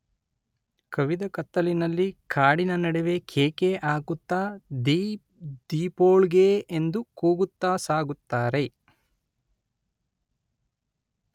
ಕವಿದ ಕತ್ತಲಿನಲ್ಲಿ ಕಾಡಿನ ನಡುವೆ ಕೇಕೆ ಹಾಕುತ್ತಾ ‘ದೀಪ್ ದೀಪೋಳ್ಗೆ’ ಎಂದು ಕೂಗುತ್ತಾ ಸಾಗುತ್ತಾರೆ